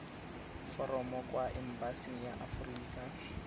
foromo kwa embasing ya aforika